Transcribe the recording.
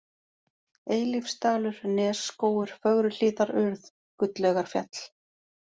Eilífsdalur, Nesskógur, Fögruhlíðarurð, Gulllaugarfjall